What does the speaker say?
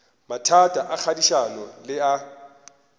mathata a kagišano le a